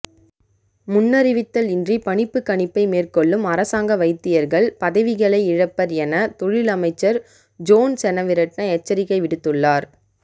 முன்னறிவித்தல் இன்றி பணிப்புக்கணிப்பை மேற்கொள்ளும் அரசாங்க வைத்தியர்கள் பதவிகளை இழப்பர் என தொழில் அமைச்சர் ஜோன் செனவிரட்ன எச்சரிக்கை விடுத்துள்ளார்